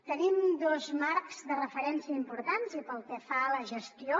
tenim dos marcs de referència importants i pel que fa a la gestió